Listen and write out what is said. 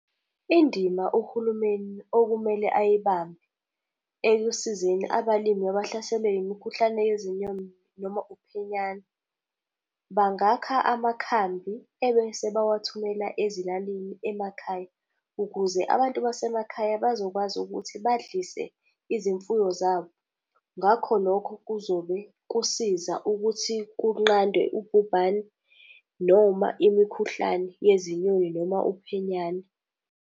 Indima uhulumeni okumele ayibambe ekusizeni abalimi abahlaselwe yimikhuhlane yezinyoni noma uphenyane, bangakha amakhambi ebese bewathumela ezilalini, emakhaya, ukuze abantu basemakhaya bazokwazi ukuthi badlise izimfuyo zabo. Ngako lokho, kuzobe kusiza ukuthi kunqandwe ubhubhane noma imikhuhlane yezinyoni noma uphenyane.